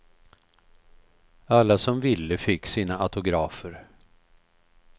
Alla som ville fick sina autografer.